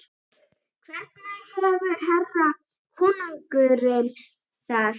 Hvernig hefur herra konungurinn það?